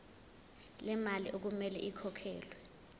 lemali okumele ikhokhelwe